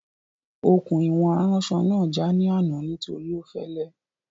Okùn ìwọ̀n aránsọ náà já ní àná nítorí ó fẹ́lẹ́